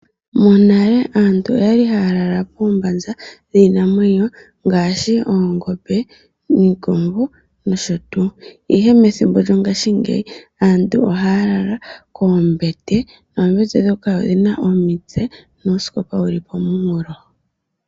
Monale aantu oyali haya lala poombaza dhiinamwenyo ngaashi oongombe, niikombo nosho tuu. Ihe methimbo lyongashingeyi aantu ohaya lala koombete noombete ndhoka odhi na omitse nuusikopa wu li kooha.